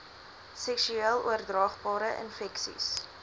seksueel oordraagbare infeksies